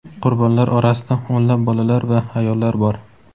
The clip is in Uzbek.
qurbonlar orasida o‘nlab bolalar va ayollar bor.